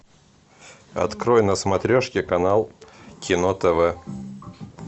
открой на смотрешке канал кино тв